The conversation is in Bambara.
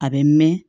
A bɛ mɛn